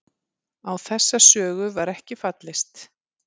Á þessa sögu var ekki fallist